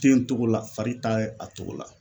Ten n cogo la fari t'a ye a cogo la